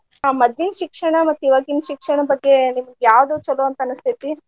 ಆ ಮದ್ಲಿನ್ ಶಿಕ್ಷಣ ಮತ್ ಈವಾಗಿನ ಶಿಕ್ಷಣ ಬಗ್ಗೆ ನಿಮ್ಗ ಯಾವ್ದ ಚೊಲೋ ಅಂತ ಅನಸ್ತೇತಿ?